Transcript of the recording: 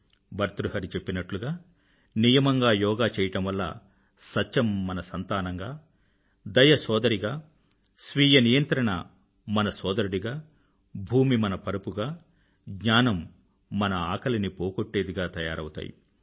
భర్తృహరి చెప్పినట్లుగా నియమంగా యోగా చెయ్యడం వల్ల సత్యం మన సంతానంగా దయ సోదరిగా స్వీయ నియంత్రణ మన సోదరుడిగా భూమి మన పరుపుగా జ్ఞానం మన ఆకలిని పోగొట్టేదిగా తయారవుతాయి